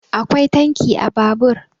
akwai tanki a Babur